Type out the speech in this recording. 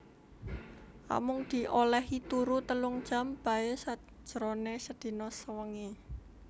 Amung di olèhi turu telung jam baé sajroné sedina sewengi